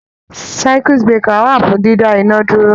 Circuit breaker wà fún dídá iná dúró.